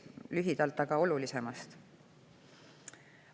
Lühidalt aga olulisemast.